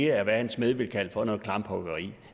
er hvad en smed ville kalde for noget klamphuggeri